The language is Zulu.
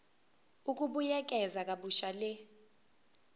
ukubuyekeza kabusha le